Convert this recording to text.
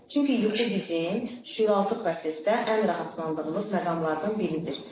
Çünki yuxu bizim şüuraltı prosesdə ən rahatlandığımız məqamlardan biridir.